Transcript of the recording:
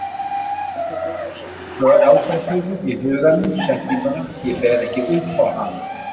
Hann endurtók eins og galdraþulu í huganum setninguna: Ég fer ekki upp á hana.